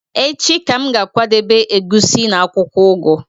Echi ka m ga-akwadebe egusi na akwukwo ugu